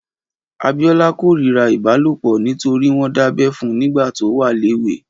Abiola kórirá ibálópọ̀ nitóri wọn dábẹ̀ fún nigbà tó wà léwé